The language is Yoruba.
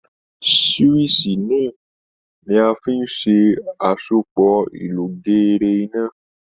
Síwíìṣì ni a fi ń ṣe àsopọ̀ ìlọgeere iná